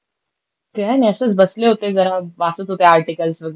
काय नाय. असंच बसले होते गं. वाचत होते आर्टिकल्स वेगेरे.